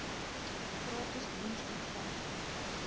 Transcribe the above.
gratis diens omvat